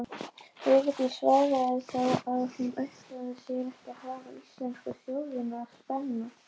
Vigdís svaraði þá að hún ætlaði sér ekki að hafa íslensku þjóðina á spena.